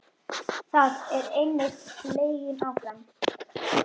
Það er einnig leiðin áfram.